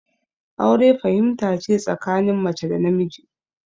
Aure fahimta ce tsakanin mace da namiji